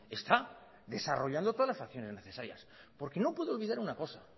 está desarrollando todas las acciones necesarias porque no puede olvidar una cosa